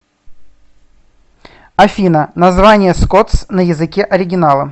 афина название скотс на языке оригинала